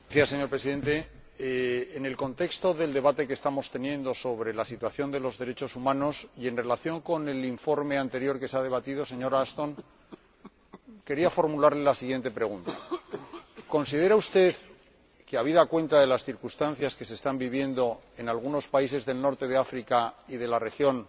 Señor Presidente, en el contexto del debate que estamos teniendo sobre la situación de los derechos humanos y en relación con el informe anterior que se ha debatido, quería formularle, señora Ashton, la siguiente pregunta ¿Considera usted que, habida cuenta de las circunstancias que se están viviendo en algunos países del norte de África y de la región,